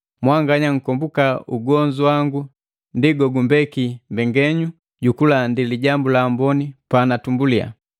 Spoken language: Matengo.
Mwanganya nkomboka ugonzu wangu ndi gogumbeki mbekenyu ju kulandi Lijambu la Amboni panatumbulia.